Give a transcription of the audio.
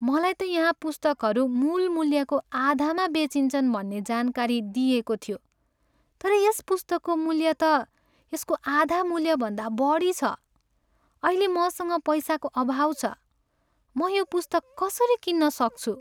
मलाई त यहाँ पुस्तकहरू मूल मूल्यको आधामा बेचिन्छन् भन्ने जानकारी दिइएको थियो तर यस पुस्तकको मूल्य त यसको आधा मूल्यभन्दा बढी छ। अहिले मसँग पैसाको अभाव छ, म यो पुस्तक कसरी किन्न सक्छु?